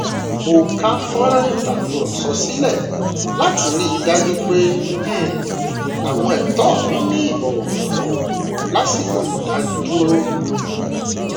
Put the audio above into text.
mo ká fọnrán ìtakùrọsọ sílẹ láti rí i dájú pé um àwọn ẹtọ mí ní ìbọwọfún lásìkò ìdánidúró